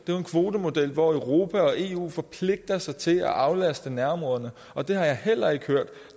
kvotemodel hvor europa og eu forpligter sig til at aflaste nærområderne og det har jeg heller ikke hørt